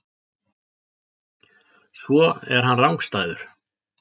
Svo er hann rangstæður.